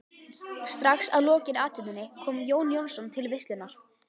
Strax að lokinni athöfninni kom Jón Jónsson til veislunnar.